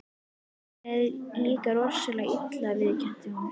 Mér leið líka rosalega illa, viðurkennir hún.